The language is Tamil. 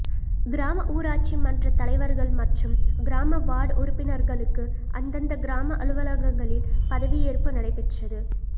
கிராம ஊராட்சி மன்றத் தலைவா்கள் மற்றும் கிராம வாா்டு உறுப்பினா்களுக்கு அந்தந்த கிராம அலுவலகங்களில் பதவியேற்பு நடைபெற்றது